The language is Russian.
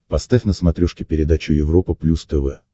поставь на смотрешке передачу европа плюс тв